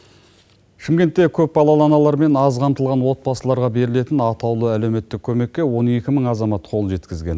шымкентте көпбалалы аналар мен аз қамтылған отбасыларға берілетін атаулы әлеуметтік көмекке он екі мың азамат қол жеткізген